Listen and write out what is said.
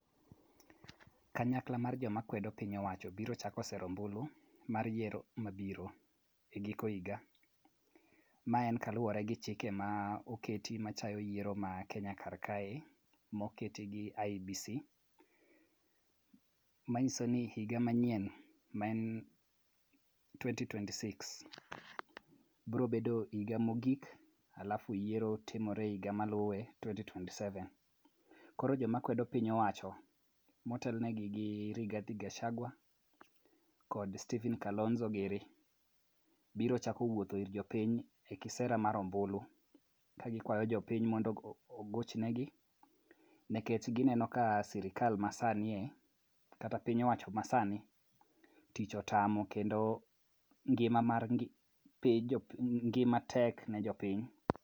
Kanyakla mar joma kwedo piny owacho biro chako sero ombulu mar yiero mabiro e giko higa. Ma en kaluwore gi chike moketi matayo yiero mar Kenya kar kae moket gi IEBC. Manyiso ni higa manyien maen twenty twenty six biro bedo higa mogik alafu yiero timore e higa maluwe twenty twenty seven. Koro joma kwedo piny owacho motelnegi gi Rigathi Gachagua kod Kalonzo gini biro chako wuotho ir jopiny e kisera mar ombulu ka gikwayo jopiny mondo ogoch negi kagineno sirkal masani kata piny owacho masani tich otamo kendo ngima mar ngima tek ne jopiny.